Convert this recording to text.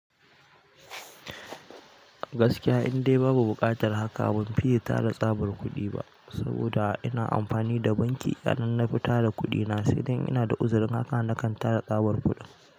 Gaskiya indai babu buƙatar haka, ban fiye tara tsabar kuɗi ba saboda ina amfani da banki. Idan na fi tara kuɗi na, sai dai ina da uzurin haka na kan tara tsabar kuɗin.